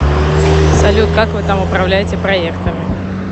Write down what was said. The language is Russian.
салют как вы там управляете проектами